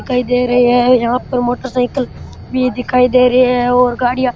दिखाई दे रही है यहाँ पर मोटरसाइकिल भी दिखाई दे रही है और गाडियां --